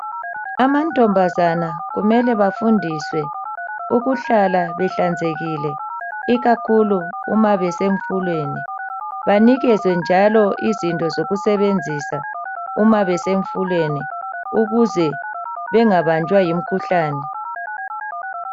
Amantombazana kumele bafundiswe ukuhlala behlanzekile ikakhulu uma besemfuleni banikezwe njalo izinto zokusebenzisa uma besemfuleni ukuze bengabanjwa yimkhuhlane.